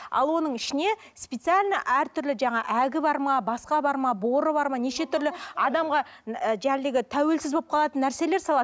ал оның ішіне специально әртүрлі жаңағы әгі бар ма басқа бар ма боры бар ма неше түрлі адамға тәуелсіз болып қалатын нәрселер салады